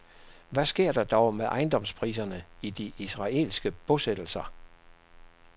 Hvad sker der dog med ejendomspriserne i de israelske bosættelser?